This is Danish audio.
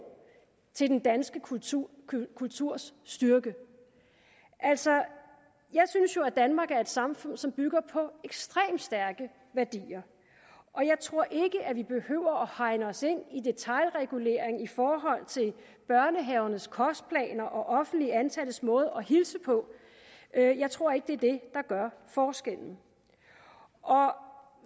til den danske kulturs kulturs styrke altså jeg synes jo at danmark er et samfund som bygger på ekstremt stærke værdier og jeg tror ikke vi behøver hegne os ind i detailregulering i forhold til børnehavernes kostplaner og offentligt ansattes måde at hilse på jeg tror ikke det er det der gør forskellen